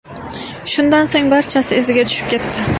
Shundan so‘ng barchasi iziga tushib ketdi.